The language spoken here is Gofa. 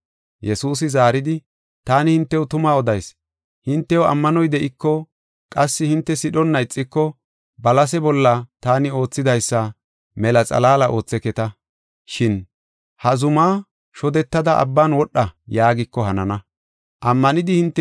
Yesuusi zaaridi, “Taani hintew tuma odayis; hintew ammanoy de7iko, qassi hinte sidhonna ixiko balase bolla taani oothidaysa mela xalaala ootheketa, shin ‘Ha zumaa shodetada abban wodha’ yaagiko hanana. Balasi Mithi